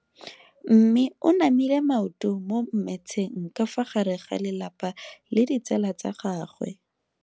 Mme o namile maoto mo mmetseng ka fa gare ga lelapa le ditsala tsa gagwe.